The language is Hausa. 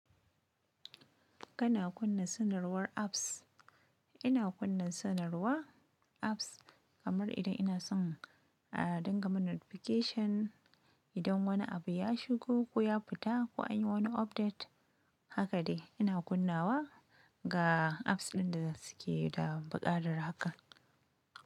Kana kunna sanarwar apps. Ina kunna sanarwar apps kamar idan ina son, ah, ringa min notification. Idan wani abu ya shigo ko ya fita ko an yi wani update, haka dai ina kunnawa ga apps ɗin da suke da buƙatar haka.